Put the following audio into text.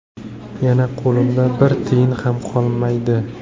Yana qo‘limda bir tiyin ham qolmaydi.